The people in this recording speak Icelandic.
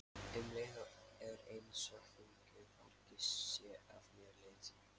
Um leið er einsog þungu fargi sé af mér létt.